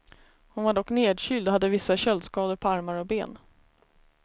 Hon var dock nedkyld och hade vissa köldskador på armar och ben.